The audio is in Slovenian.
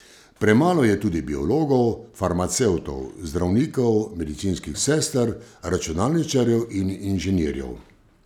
Premalo je tudi biologov, farmacevtov, zdravnikov, medicinskih sester, računalničarjev in inženirjev.